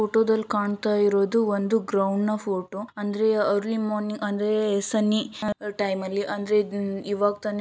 photo ದಲ್ಲಿ ಕಾಣ್ತಾ ಇರೋದು ಒಂದು ಗ್ರೌಂಡ್ ನ ಫೋಟೋ ಅಂದ್ರೆ ಅರ್ಲಿ ಮಾರ್ನಿಂಗ್ ಅಂದ್ರೆ ಸನ್ನಿ ಟೈಮ್ ಅಲ್ಲಿ ಅಂದ್ರೆ ಇವಾಗ್ತಾನೆ